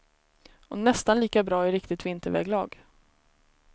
Och nästan lika bra i riktigt vinterväglag.